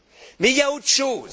Mais il y a autre chose.